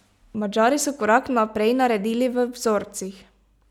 Madžari so korak naprej naredili v vzorcih.